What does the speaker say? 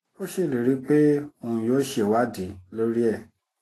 ó ṣèlérí pé òun yóò ṣèwádìí lórí ẹ